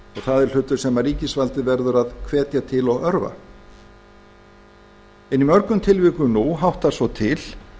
það er hlutur sem ríkisvaldið verður að hvetja til og örva en í mörgum tilvikum nú háttar svo til